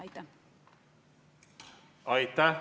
Aitäh!